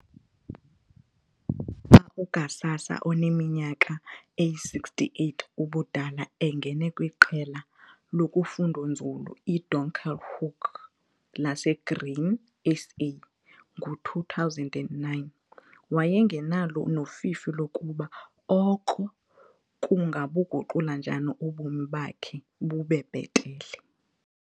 uGhsasa oneminyaka eyi-68 ubudala engene kwiQela loFundonzulu iDonkerhoek laseGrain SA ngo-2009 wayengenalo nofifi lokuba oko kungabuguqula njani ubomi bakhe bube bhetele.